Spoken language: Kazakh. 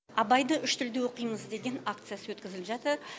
абайды үш тілде оқимыз деген акциясы өткізіліп жатыр